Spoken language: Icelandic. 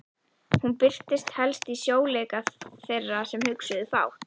Hún birtist helst í sljóleika þeirra sem hugsuðu fátt.